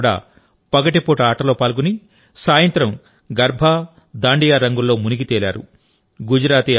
క్రీడాకారులు కూడా పగటిపూట ఆటలో పాల్గొని సాయంత్రం గర్బా దాండియా రంగుల్లో మునిగితేలారు